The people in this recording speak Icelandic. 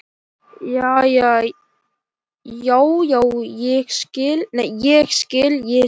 Já, já, ég skil, ég skil.